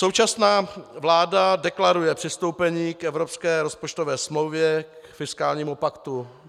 Současná vláda deklaruje přistoupení k evropské rozpočtové smlouvě, k fiskálnímu paktu.